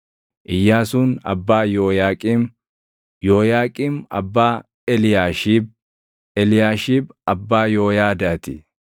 Iyyaasuun abbaa Yooyaaqiim; Yooyaaqiim abbaa Eliyaashiib; Eliyaashiib abbaa Yooyaadaa ti;